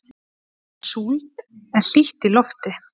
Það er súld en hlýtt í lofti.